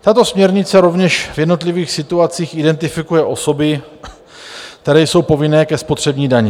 Tato směrnice rovněž v jednotlivých situacích identifikuje osoby, které jsou povinné ke spotřební dani.